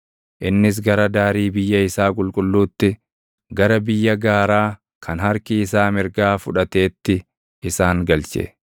Innis gara daarii biyya isaa qulqulluutti, gara biyya gaaraa kan harki isaa mirgaa fudhateetti isaan galche.